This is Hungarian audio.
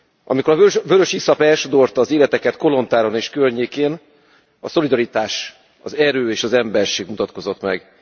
Amikor a vörösiszap elsodorta az életeket Kolontáron és környékén, a szolidaritás, az erő és az emberség mutatkozott meg.